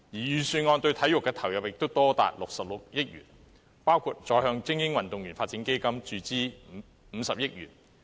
預算案對體育的投入也多達66億元，包括再向精英運動員發展基金注資50億元。